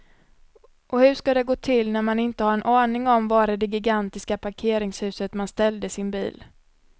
Och hur ska det gå till när man inte har en aning om var i det gigantiska parkeringshuset man ställde sin bil.